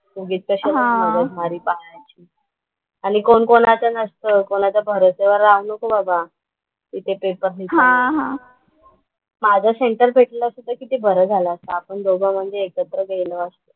उगीच कशाला मगजमारी पाळायची. आणि कोण कोणाचा नसतो. कोणाच्या भरवश्यावर राहू नको बाबा. तिथे पेपर लिहिताना. माझा सेंटर भेटलं असतं तर किती बरं झालं असतं. आपण दोघं म्हणजे एकत्र गेलो असतो.